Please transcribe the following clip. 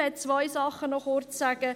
Ich möchte noch kurz zwei Dinge sagen.